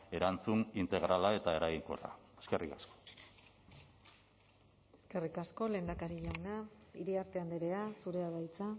erantzun integrala eta eraginkorra eskerrik asko eskerrik asko lehendakari jauna iriarte andrea zurea da hitza